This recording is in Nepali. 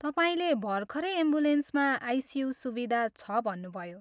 तपाईँले भर्खरै एम्बुलेन्समा आइसियु सुविधा छ भन्नुभयो।